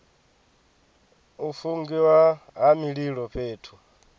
u fungiwa ha mililo fhethu